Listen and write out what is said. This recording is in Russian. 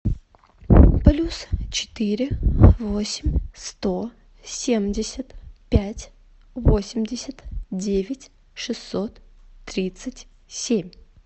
плюс четыре восемь сто семьдесят пять восемьдесят девять шестьсот тридцать семь